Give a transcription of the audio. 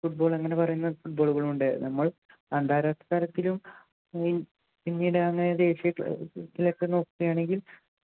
football അങ്ങനെ പറയുന്ന football കളും ഉണ്ട് നമ്മൾ അന്താരാഷ്ട്ര തലത്തിലും ദേശീയതലത്തിലും ഒക്കെ നോക്കുകയാണെങ്കിൽ